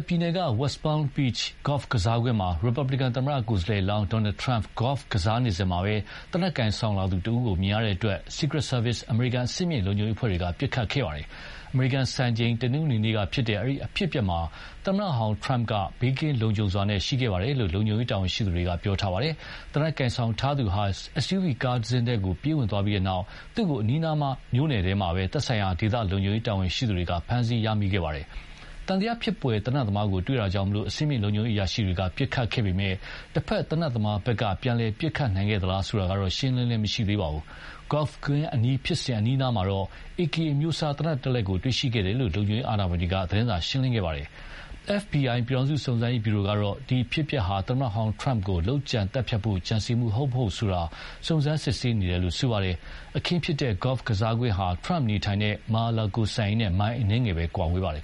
ပြည်နယ်က West Palm Beach ဂေါ့ဖ် ကစားကွင်းမှာ ရီပတ်ဘလီကန်သမ္မတကိုယ်စားလှယ်လောင်း Donald Trump ဂေါ့ဖ် ကစားနေစဉ် သေနတ်ကိုင်ဆောင်လာသူတဦးကို မြင်ရတဲ့အတွက် Secret Service အမေရိကန်အဆင့်မြင့်လုံခြုံရေးအဖွဲ့တွေက ပစ်ခတ်ခဲ့ပါတယ်။ အမေရိကန် စံချိန် တနင်္ဂနွေနေ့က ဖြစ်တဲ့ အဲဒီအဖြစ်အပျက်မှာ သမ္မတဟောင်း Trump က ဘေးကင်းလုံလုံခြုံခြုံရှိခဲ့တယ်လို့ လုံခြံရေးတာဝန်ရှိသူတွေပြောပါတယ်။ သေနတ်ကိုင်ဆောင်ထားသူဟာ SUV ကားတစင်းထဲကို ပြေးဝင်သွားပြီးနောက်သူ့ကို အနီးအနား မြို့နယ်ထဲမှာပဲ သက်ဆိုင်ရာ ဒေသလုံခြုံရေးတာဝန်ရှိသူတွေက ဖမ်းဆီးရမိခဲ့ပါတယ်။ သံသယဖြစ်ဖွယ်သေနတ်သမားကိုတွေ့တာကြောင့် အဆင်မြင့်လုံခြုံရေးအရာရှိတွေက ပစ်ခတ်ခဲ့ပေမယ့် တဘက် သေနတ်သမားဘက်ကပြန်လည်ပစ်ခတ်နိုင်ခဲ့သလားဆိုတာတော့ ရှင်းရှင်းလင်းလင်းမရှိသေးပါဘူး။ ဂေါ့ဖ်ကွင်းအနီးဖြစ်စဉ် အနီးအနားမှာတော့AK အမျိုးအစား သေနတ်တလက်ကို တွေ့ရှိခဲ့တယ်လို့ လုံခြုံရေးအာဏာပိုင်တွေက သတင်းစာရှင်းလင်းခဲ့ပါတယ်။ FBI ပြည်ထောင်စုစုံစမ်းရေးဗျူရိုကတော့ ဒီအဖြစ်အပျက်ဟာ သမ္မတဟောင်း TRUMP ကို လုပ်ကြံသတ်ဖြတ်ဖို့ ကြံစည်မှုဟုတ်မဟုတ်ဆိုတာ ကို စုံစမ်းစစ်ဆေးနေတယ်လို့ဆိုပါတယ်။ အခင်းဖြစ်တဲ့ ဂေါ့ကစားကွင်းဟာ Trump နေထိုင်တဲ့ Mar-a-Lago စံအိမ်နဲ့ မိုင်အနည်းငယ်သာ ကွာဝေးပါတယ်